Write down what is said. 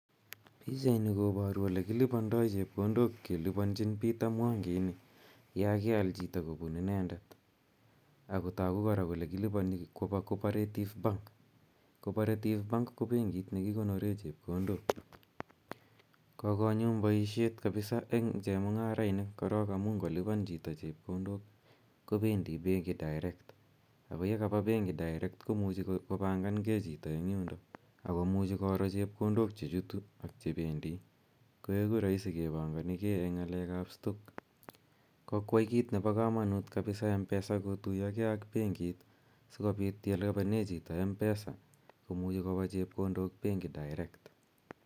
Pichaini koparu ole kilipandai chepkondok kelipanchin Peter Mwangi ini ya keal chito, kopun inendet. Ako tagu kora kole kilipani kopa Cooperative bank. Cooperative bank ko benit ne kikonore chepkondok. Kokonyumnyum poishet eng' chemung'arainik korok amu chemung'arainik ngo lipan chiton chepkondok kopendi penki direct ako ye kapa penki direct ko muchi kopangangei chito en yundok ako muchi koro chepkondok che chutu ak che pendi, koeku kepanganigei eng' ng'alek ap stock. Kokoyai kiit nepo kamanut kapisa Mpesa kotuya gei ak penkit asikopit ye lipane chito Mpesa komuchi kopa chepkondok penki direct.